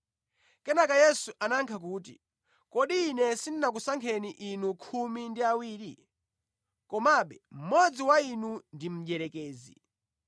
Kenaka Yesu anayankha kuti, “Kodi Ine sindinakusankheni inu khumi ndi awiri? Komabe mmodzi wa inu ndi mdierekezi.”